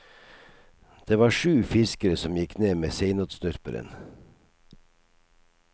Det var sju fiskere som gikk ned med seinotsnurperen.